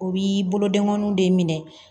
U bi bolodengɔninw de minɛ